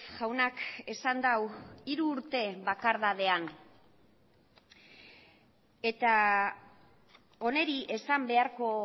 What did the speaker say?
jaunak esan du hiru urte bakardadean eta honi esan beharko